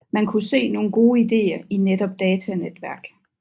Man kunne se nogle gode ideer i netop datanetværk